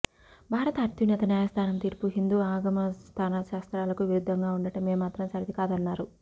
భారత అత్యున్నత న్యాయస్థానం తీర్పు హిందూ ఆగమ శాస్త్రాలకు విరుద్ధంగా ఉండటం ఏమాత్రం సరికాదన్నారు